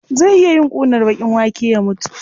Zai iya yin ƙunar baƙin wake ya mutu.